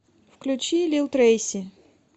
включи лил трэйси